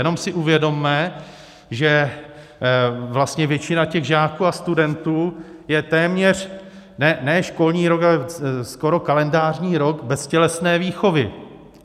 Jenom si uvědomme, že vlastně většina těch žáků a studentů je téměř ne školní rok, ale skoro kalendářní rok bez tělesné výchovy.